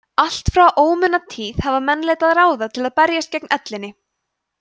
allt frá ómunatíð hafa menn leitað ráða til að berjast gegn ellinni